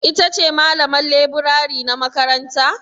Ita ce malaman leburare na makaranta?